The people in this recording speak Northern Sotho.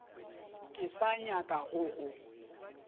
ke sa nyaka go go